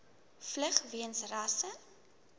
vlug weens rasse